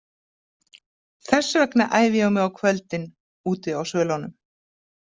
Þess vegna æfi ég mig á kvöldin, úti á svölunum.